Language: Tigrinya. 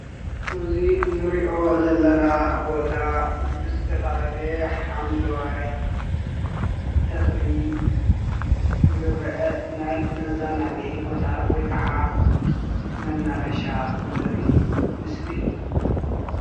እዚ እንሪኦ ዘለና ቦታ ብዝተፈላለየ ሓምለዋይ ተኽሊ ዝርአ ናይ መዘናግዒ ቦታ ወይ ከዓ መናፈሻ ዘርኢ ምስሊ እዩ።